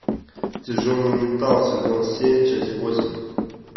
тяжелый металл сезон семь часть восемь